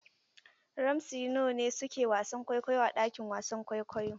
Ramsey Noah ne su ke wasan kwaikwayo a ɗakin wasan kwaikwayo.